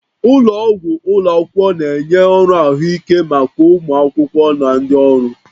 Ụlọ ọgwụ ụlọ akwụkwọ na-enye ọrụ ahụike maka ụmụ akwụkwọ na ndị ọrụ